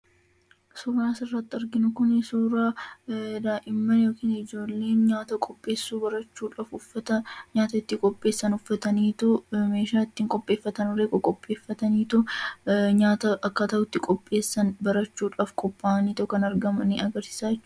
Suuraan asirratti arginu kun suuraa daa'imman yookaan ijoolleen nyaata qopheessuu barachuudhaaf uffata nyaata itti qopheessan uffataniitu, meeshaa ittiin qopheessan qopheeffataniitu nyaata akkaataa itti qopheessan barachuuf qophaa'anii kan jiran agarsiisa jechuudha.